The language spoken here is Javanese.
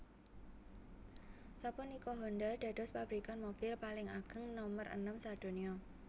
Sapunika Honda dados pabrikan mobil paling ageng nomer enem sadonya